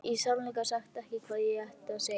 Vissi í sannleika sagt ekki hvað ég átti að segja.